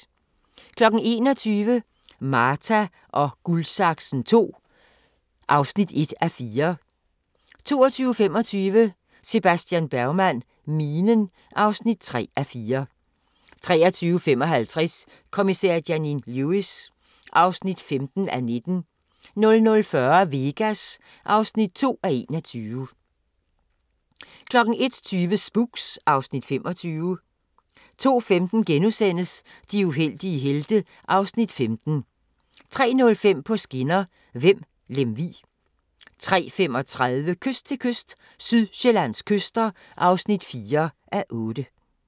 21:00: Marta & Guldsaksen II (1:4) 22:25: Sebastian Bergman: Minen (3:4) 23:55: Kommissær Janine Lewis (15:19) 00:40: Vegas (2:21) 01:20: Spooks (Afs. 25) 02:15: De uheldige helte (Afs. 15)* 03:05: På skinner: Vemb – Lemvig 03:35: Kyst til kyst – Sydsjællands kyster (4:8)